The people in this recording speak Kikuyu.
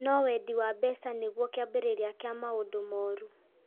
No wendi wa mbeca nĩguo kĩambĩrĩria kĩa maũndũ moru